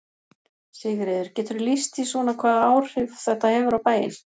Sigríður: Geturðu lýst því svona hvaða áhrif þetta hefur á bæinn?